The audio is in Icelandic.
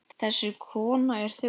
Þessi kona er þjófur.